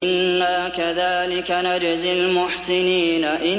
إِنَّا كَذَٰلِكَ نَجْزِي الْمُحْسِنِينَ